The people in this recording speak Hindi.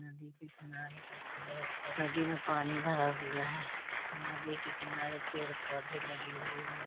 नदी के किनारे का नदी में पानी भरा हुआ है नदी के किनारे पेड़ पौधे लगे हुए हैं।